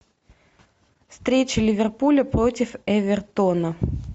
встреча ливерпуля против эвертона